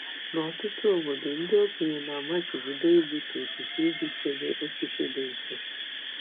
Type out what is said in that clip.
N'ọtụtụ obodo, ndị okenye na-amachibido igbutu osisi iji chebe osisi dị nsọ.